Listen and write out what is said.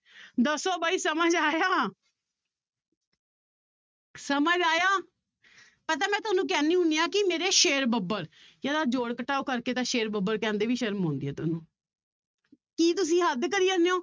ਦੱਸੋ ਬਾਈ ਸਮਝ ਆਇਆ ਸਮਝ ਆਇਆ, ਪਤਾ ਮੈਂ ਤੁਹਾਨੂੰ ਕਹਿੰਦੀ ਹੁੰਦੀ ਹਾਂ ਕਿ ਮੇਰੇ ਸ਼ੇਰ ਬੱਬਰ ਯਾਰ ਆਹ ਜੋੜ ਘਟਾਓ ਕਰਕੇ ਤਾਂ ਸ਼ੇਰ ਬੱਬਰ ਕਹਿੰਦੇ ਵੀ ਸ਼ਰਮ ਆਉਂਦੀ ਹੈ ਤੁਹਾਨੂੰ ਕੀ ਤੁਸੀਂ ਹੱਦ ਕਰੀ ਜਾਂਦੇ ਹੋ,